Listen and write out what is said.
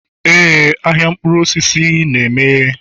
Éè ahịa mkpụrụ osisi na-emeghe.